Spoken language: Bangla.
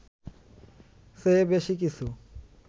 চেয়ে বেশি কিছু